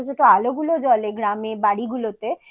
ছোট আলোগুলো জ্বলে গ্রামের বাড়িগুলোতে